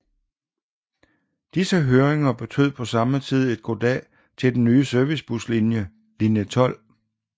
Disse hørringer betød på samme tid et goddag til den nye servicebuslinje Linje 12